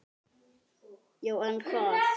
Já en hvað?